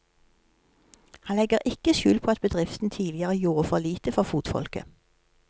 Han legger ikke skjul på at bedriften tidligere gjorde for lite for fotfolket.